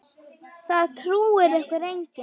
Það trúir ykkur enginn!